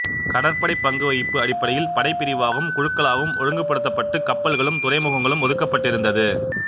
கடற்படை பங்கு வகிப்பு அடிப்படையில் படைப்பிரிவாகவும் குழுக்களாகவும் ஒழுங்குபடுத்தப்பட்டு கப்பல்களும் துறைமுகங்களும் ஒதுக்கப்பட்டிருந்தது